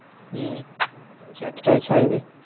হম সাতটায় ছাড়বে।